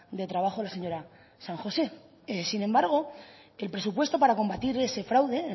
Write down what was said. de trabajo la señora san josé sin embargo el presupuesto para combatir ese fraude